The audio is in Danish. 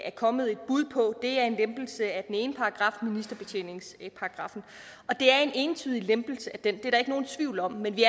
er kommet et bud på er en lempelse af den ene paragraf ministerbetjeningsparagraffen det er en entydig lempelse af den det er der ikke nogen tvivl om men vi